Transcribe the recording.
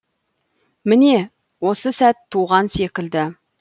міне осы сәт туған секілді